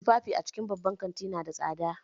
Tufafi daga babban kanti nada tsada